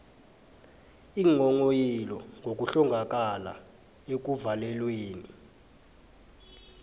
iinghonghoyilo ngokuhlongakala ekuvalelweni